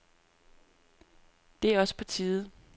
Det er også på tide.